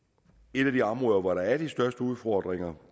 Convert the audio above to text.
et af de områder hvor der er de største udfordringer